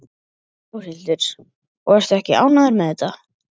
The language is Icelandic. Þórhildur: Og ertu ekki ánægður með þetta?